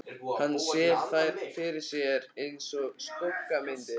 Hann sér þær fyrir sér einsog skuggamyndir.